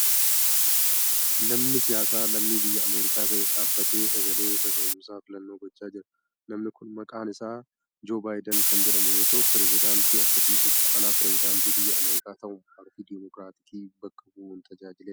Namni siyaasaa lammii biyya Ameerikaa ta'e dhaabatee sagalee kaka'uumsa filannoo gochaa jira. Namni kun maqaan isaa Joo Baayidan kan jedhamu yoo ta'u, pireezidantii akkasumas itti aanaa pireezidantii biyya Ameerikaa ta'uun paartii deemookiraatikii bakka bu'uun tajaajileera.